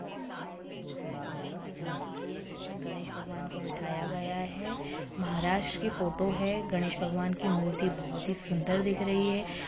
यह फ़ोटो गणेश भगवान की झाकी की है जिसमे गणेश भगवान को बिठाया गया है महाराष्ट्र कि फ़ोटो है गणेश भगवान की मूर्ति बहुत ही सुंदर दिख रही है।